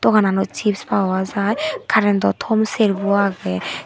dogananot chips power jai currento tom serbi agey.